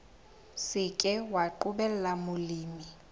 se ke wa qobella molemi